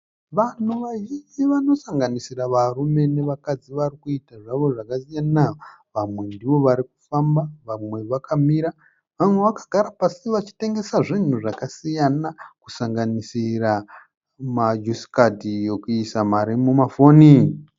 Vanhu vazhinji vanosanganisira varume nevakadzi varikuita zvavo zvakasiyana. Vamwe ndivo vari kufamba, vamwe vakamira, vamwe vakagara pasi vachitengesa zvinhu zvakasiyana, kusanganisira majusikadhi ekuisa mari mumafoni.